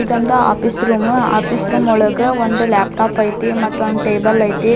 ಇದೊಂದು office room office room ಒಳಗ ಒಂದು ಲ್ಯಾಪ್ಟಾಪ್ ಐತಿ ಒಂದು ಟೇಬಲ್ ಐತಿ.